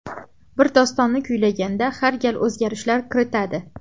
Bir dostonni kuylaganda har gal o‘zgarishlar kiritadi.